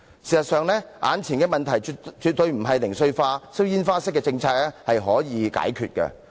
事實上，眼前的問題絕非零碎化、放煙花式的政策可以解決得到。